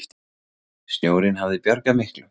Snjórinn hafi bjargað miklu.